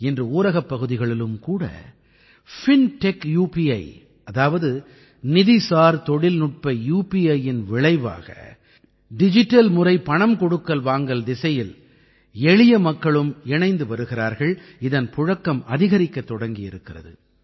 இன்று ஊரகப் பகுதிகளிலும் கூட பின்டெக் உபி அதாவது நிதிசார் தொழில்நுட்ப UPIஇன் விளைவாக டிஜிட்டல் முறை பணம் கொடுக்கல் வாங்கல் திசையில் எளிய மக்களும் இணைந்து வருகிறார்கள் இதன் புழக்கம் அதிகரிக்கத் தொடங்கியிருக்கிறது